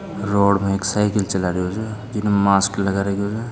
रोड़ में एक साइकिल चला रह्यो छ जिने मास्क लगा रखयो छ।